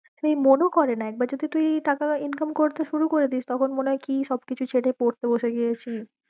সেই মন ও করে না, একবার যদি তুই টাকা income করতে শুরু করে দিস তখন মনে হয়ে কি সব কিছু ছেড়ে পড়তে বসে গিয়েছি